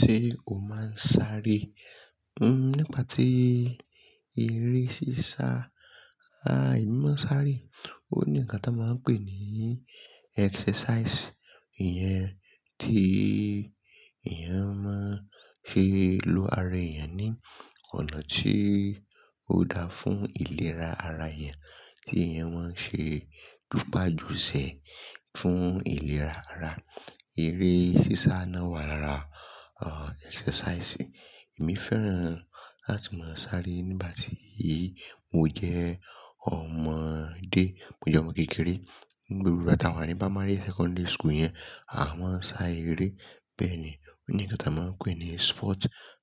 Ṣé o máa ń sáré? Nípa tí eré sísá, emi ma sáré, ò ni ǹkan tí a máa ń pè ní exercise. Ìyẹn tí èèyàn máa ń ṣe lo ara èèyàn ní ọ̀nà tí ó dáa fún ìlera ara èèyàn, kí èèyàn máa ṣe jupa jù sẹ̀ fún ìlera ara. Eré sísá náà wà lára, exercise. Èmi fẹ́ràn láti máa sáré nígbà tí mo jẹ́ ọmọdé, mo jẹ́ ọmọ kékeré. Ní gbogbà tí a wà ní primary, secondary school yẹn, a máa ń sá eré bẹ́ẹ̀ ni. Ó ní ǹkan tí a máa ń pè ní sport.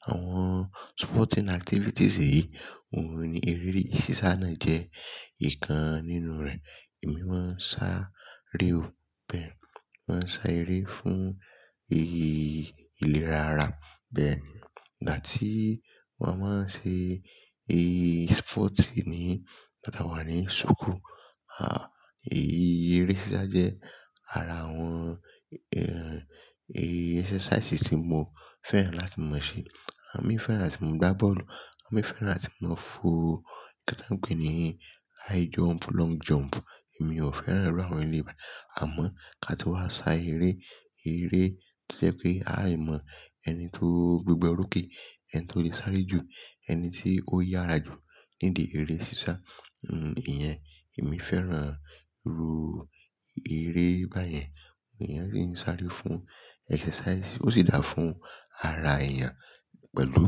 Àwọn sporting activities yìí, òun ni eré sísá náà jẹ́ ìkan nínú rẹ̀. Èmi máa ń sáré o bẹ́ẹ̀. Mo máa ń sá eré fún èyí ìlera ara bẹ́ẹ̀ ni. Ìgbà tí wọ́n á máa ń ṣe èyí sport yìí ni nígbà tí a wà ní school, aà, èyí eré sísá jẹ́ ara àwọn, èyí exercise tí mo fẹ́ràn láti máa ṣe. Àmi fẹ́ràn láti máa gbá bọ́ọ̀lù, àmi fẹ́ràn láti máa fo ǹkan tí a ń pè ní high jump, long jump. Èmi ò fẹ́ràn irú àwọn eré báyìí. Àmọ́ ká ti wá sá eré, eré tí ó jẹ́ pé a yí mọ ẹni tó gbígbẹ́ orókè, ẹni tó lè sáré jù, ẹni tí ó yára jù nídi eré sísá. Ìyẹn èmi fẹ́ràn irú eré báyẹn. Iyen ni ó ń sáré fún exercise, ó sì dáa fún ara èèyàn pẹ̀lú.